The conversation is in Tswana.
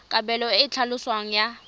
kabelo e e tlhaloswang ya